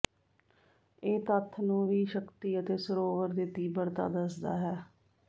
ਇਹ ਤੱਥ ਨੂੰ ਵੀ ਸ਼ਕਤੀ ਅਤੇ ਸਰੋਵਰ ਦੇ ਤੀਬਰਤਾ ਦੱਸਦਾ ਹੈ